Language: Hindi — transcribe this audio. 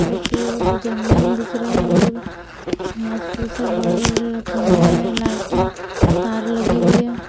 दूसरी तरफ जंगल दिख रहे हैं दूर घास फूस है बड़े-बड़े खंबे हैं लाइट है तार लगी हुई है।